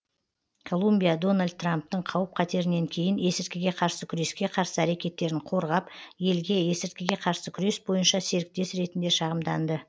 колумбия дональд трамптың қауіп қатерінен кейін есірткіге қарсы күреске қарсы әрекеттерін қорғап елге есірткіге қарсы күрес бойынша серіктес ретінде шағымданды